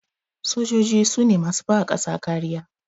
Sojoji sune masu bawa ƙasa kariya